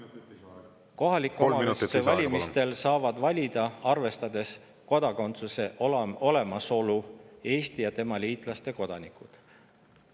Kohaliku omavalitsuse valimistel saavad valida, arvestades kodakondsuse olemasolu, Eesti ja tema liitlaste kodanikud.